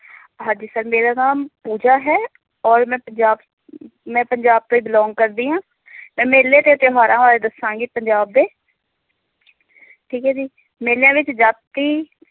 ਹਾਂਜੀ sir ਮੇਰਾ ਨਾਮ ਪੂਜਾ ਹੈ ਔਰ ਮੈਂ ਪੰਜਾਬ ਮੈਂ ਪੰਜਾਬ ਤੋਂ ਹੀ belong ਕਰਦੀ ਹਾਂ ਮੈਂ ਮੇਲੇ ਤੇ ਤਿਉਹਾਰਾਂ ਬਾਰੇ ਦੱਸਾਂਗੀ ਪੰਜਾਬ ਦੇ ਠੀਕ ਹੈ ਜੀ ਮੇਲਿਆਂ ਵਿੱਚ ਜਾਤੀ